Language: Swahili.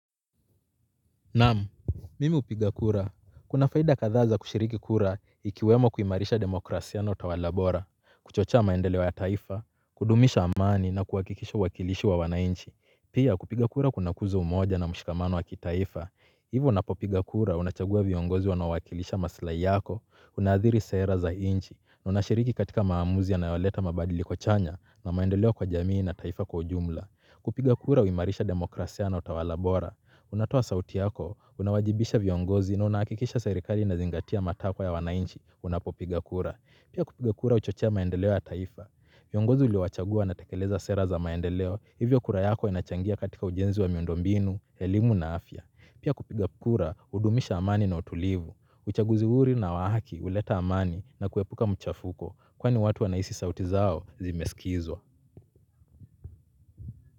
Naamu, mimi hupiga kura. Kuna faida kadhaa za kushiriki kura ikiwemo kuimarisha demokrasia na utawala bora, kuchochea maendeleo ya taifa, kudumisha amani na kuhakikisha uwakilisho wa wananchi. Pia kupiga kura kuna kuza umoja na mshikamano wa kitaifa. Hivyo unapopiga kura unachagua viongozi wanaowakilisha maslahi yako, unadhiri sera za nchi, na unashiriki katika maamuzi yanayoleta mabadiliko chanya na maendeleo kwa jamii na taifa kwa ujumla. Kupiga kura huimarisha demokrasia na utawala bora. Unatoa sauti yako, unawajibisha viongozi na unahakikisha serikali inazingatia matakwa ya wanainchi, unapopiga kura. Pia kupiga kura huchochea maendeleo ya taifa. Viongozi uliwachagua wanatekeleza sera za maendeleo, hivyo kura yako inachangia katika ujenzi wa miundo mbinu, elimu na afya. Pia kupiga kura, hudumisha amani na utulivu, uchaguzi huru na wa haki, huleta amani na kuepuka mchafuko, kwani watu wanahisi sauti zao zimesikizwa.